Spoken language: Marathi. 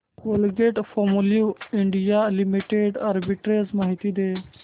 कोलगेटपामोलिव्ह इंडिया लिमिटेड आर्बिट्रेज माहिती दे